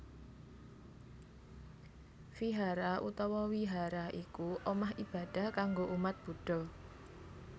Vihara utawa Wihara iku omah ibadah kanggo umat Buddha